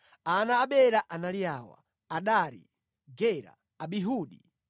Ana a Bela anali awa: Adari, Gera, Abihudi,